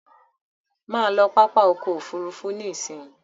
Má lọ pápá ọkọ̀ òfurufú nísìí!